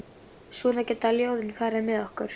Svona geta ljóðin farið með okkur.